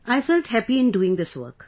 I felt happy in doing this work